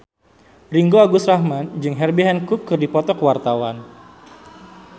Ringgo Agus Rahman jeung Herbie Hancock keur dipoto ku wartawan